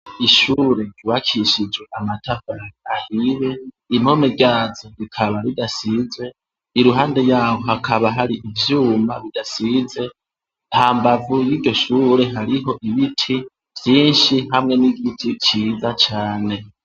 Ishurure iwakishijwe amataka ahire impome ryazo rikaba ridasizwe i ruhande yawo hakaba hari ivyuma bidasize ta mbavu y'igishure hariho ibiti vyinshi hamwe n'igiti ciza cane.